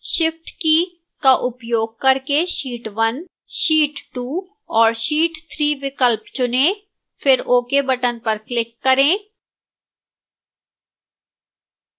shift की का उपयोग करके sheet 1 sheet 2 और sheet 3 विकल्प चुनें और फिर ok बटन पर क्लिक करें